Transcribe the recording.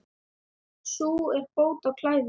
Sú er bót á klæði.